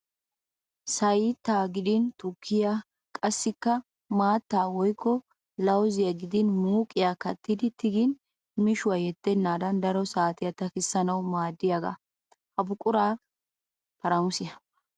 Sayyita gidin tukkiya qassikka maattaa woyikko lawuziya gidin muuqiya kattidi tigin mishiwa yeddennaadan daro saatiya takissanawu maaddiyagaa. Ha buquray "paaramusiya".